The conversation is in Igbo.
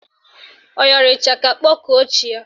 Ọ yọrọ ịchaka kpọkuo chi ya?